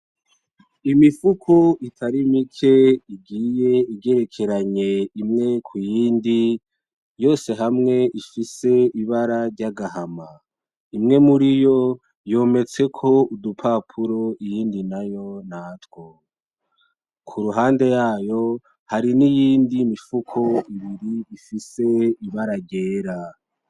Imifuko itari mike igiye igerekeranye imwe kuyindi yose hamwe ifise ibara ry'agahama, imwe muriyo yometseko udupapuro iyindi nayo ntatwo, k'uruhande yayo hari n'iyindi mifuko ifise ibara ryera.